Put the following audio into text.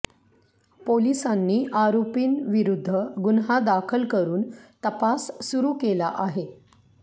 पोलिसांनी आरोपींविरुद्ध गुन्हा दाखल करुन तपास सुरु केला आहे